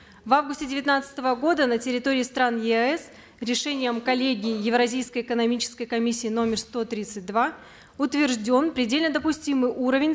в августе девятнадцатого года на территории стран еаэс решением коллегии евразийской экономической комиссии номер сто тридцать два утвержден предельно допустимый уровень